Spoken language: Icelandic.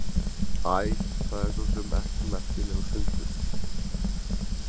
Æ, það er svo sem ekkert merkilegur fundur.